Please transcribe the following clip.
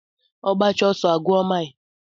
Ogbacha oso a gwuo mile.